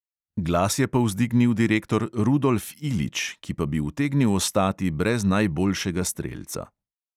Glas je povzdignil direktor rudolf ilić, ki pa bi utegnil ostati brez najboljšega strelca.